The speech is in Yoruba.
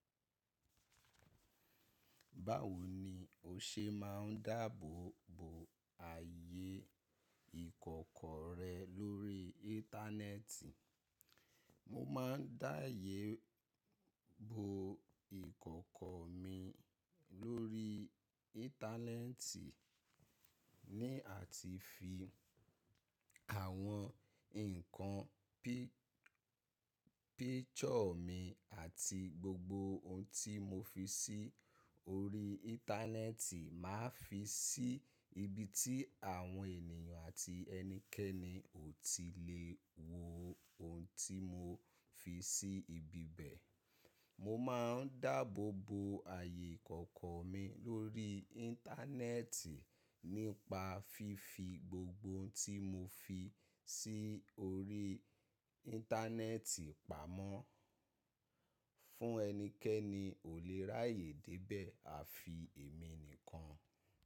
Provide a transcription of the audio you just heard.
Báwo ni o ṣe máa ń dáàbòbo ààyè ìkọ̀kọ̀ rẹ lórí íńtánẹ́ẹ̀tì? Mo máa ń dáààyè bo ìkọ̀kọ̀ mi lórí internet, ní àti fi àwọn ǹkan bí picture mi àti gbogbo òun tí mo fi sí orí internet ma fi sí ibi tí àwọn ènìyàn àti ẹnikẹ́ni ò tí lè wò òun tí mo fi sí ibi bẹ́. Mo má a ń dáàbò bo ààyè ìkọ̀kọ̀ mi lórí internet nípa fífi gbogbo ohun tí mo fi sí orí internet pamọ́. Fún ẹnikẹ́ni ò lè ráàyè dé ibẹ̀ àfi èmi nìkan.